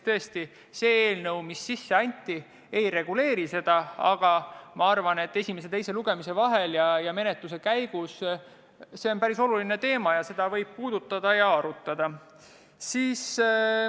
Tõesti, sisseantud eelnõu seda ei reguleeri, aga ma arvan, et esimese ja teise lugemise vahel ning menetluse käigus – kuna see on päris oluline teema – võib seda arutada.